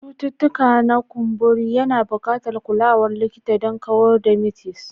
Cututtuka na ƙumburi yana buƙatar kulawar likita don kawar da mites.